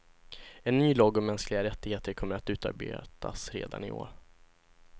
En ny lag om mänskliga rättigheter kommer att utarbetas redan i år.